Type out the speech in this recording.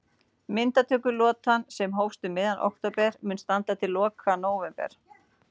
Myndatökulotan, sem hófst um miðjan október mun standa til loka nóvember.